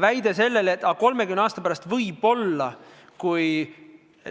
Väide, et võib-olla 30 aasta pärast, kui